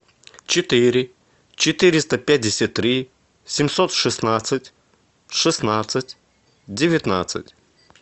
четыре четыреста пятьдесят три семьсот шестнадцать шестнадцать девятнадцать